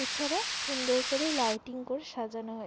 এছাড়া সুন্দর করে লাইটিং করে সাজানো হয়ে--